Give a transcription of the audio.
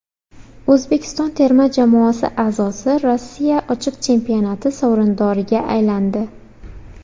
O‘zbekiston terma jamoasi a’zosi Rossiya ochiq chempionati sovrindoriga aylandi.